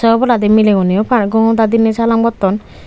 oboladi mileuneo par gongo da diney salam gotton.